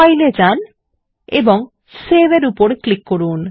file এ যান এবং সেভ এর উপর ক্লিক করুন